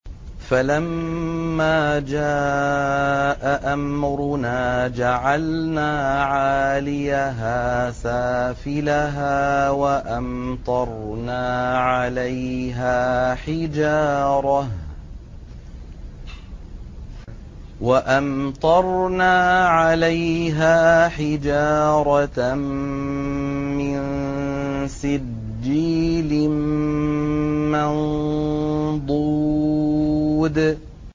فَلَمَّا جَاءَ أَمْرُنَا جَعَلْنَا عَالِيَهَا سَافِلَهَا وَأَمْطَرْنَا عَلَيْهَا حِجَارَةً مِّن سِجِّيلٍ مَّنضُودٍ